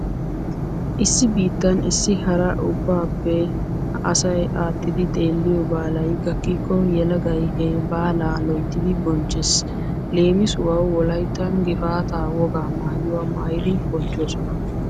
Issi biittan issi hara ubbaappe asay aattidi xeelliyo baalay gakkikko yelagay he baalaa loyttidi bonchchees. Leemisuwawu wolayttan gifaataa wogaa maayuwa maayidi bonchchoosona.